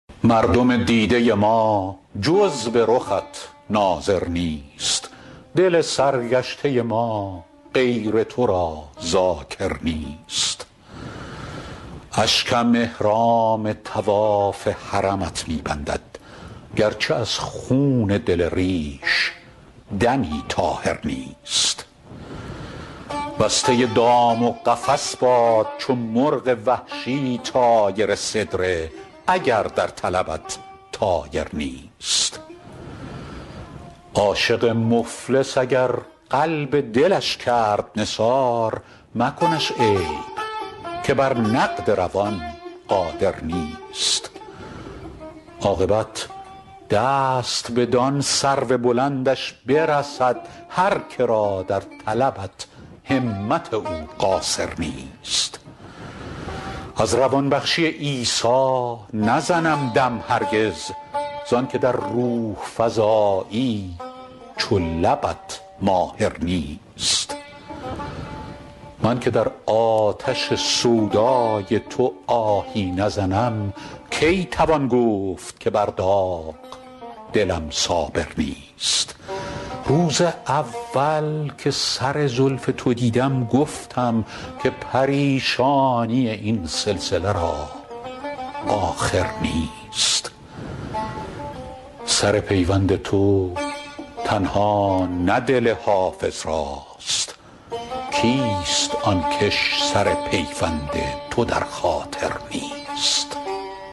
مردم دیده ما جز به رخت ناظر نیست دل سرگشته ما غیر تو را ذاکر نیست اشکم احرام طواف حرمت می بندد گرچه از خون دل ریش دمی طاهر نیست بسته دام و قفس باد چو مرغ وحشی طایر سدره اگر در طلبت طایر نیست عاشق مفلس اگر قلب دلش کرد نثار مکنش عیب که بر نقد روان قادر نیست عاقبت دست بدان سرو بلندش برسد هر که را در طلبت همت او قاصر نیست از روان بخشی عیسی نزنم دم هرگز زان که در روح فزایی چو لبت ماهر نیست من که در آتش سودای تو آهی نزنم کی توان گفت که بر داغ دلم صابر نیست روز اول که سر زلف تو دیدم گفتم که پریشانی این سلسله را آخر نیست سر پیوند تو تنها نه دل حافظ راست کیست آن کش سر پیوند تو در خاطر نیست